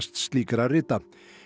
slíkra rita